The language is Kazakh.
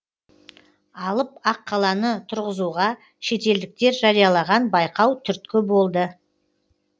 алып аққаланы тұрзызуға шетелдіктер жариялаған байқау түрткі болды